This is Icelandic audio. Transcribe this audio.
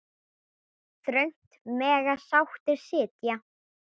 Þröngt mega sáttir sitja.